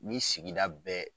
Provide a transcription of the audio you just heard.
Ni sigida bɛ